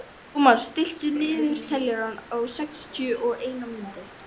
Thomas, stilltu niðurteljara á sextíu og eina mínútur.